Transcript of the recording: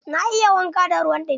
Na yi wanka da ruwan ɗumi.